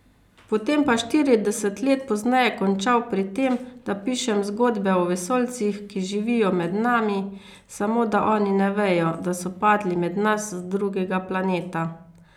Potem pa štirideset let pozneje končal pri tem, da pišem zgodbe o vesoljcih, ki živijo med nami, samo da oni ne vejo, da so padli med nas z drugega planeta.